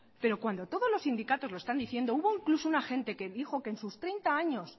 pero cuando todos los sindicatos lo están diciendo hubo incluso un agente que dijo que en sus treinta años